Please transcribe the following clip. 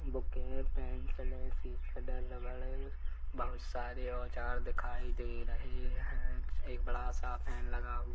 book हैं pencil हैं सिस कटर रबर हैं बहुत सारे औजार दिखाई दे रहै हैं एक बड़ा सा फैन लगा हुआ--